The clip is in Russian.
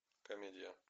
комедия